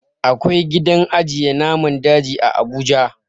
Akwai gidan ajiye naman daji a abuja